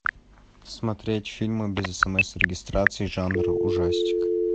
смотреть фильмы без смс и регистрации жанр ужастик